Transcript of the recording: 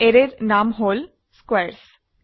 অ্যাৰেৰ নাম হল স্কোৱাৰেছ